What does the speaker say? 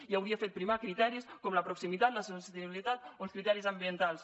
i hauria fet primar criteris com la proximitat la sostenibilitat o els criteris ambientals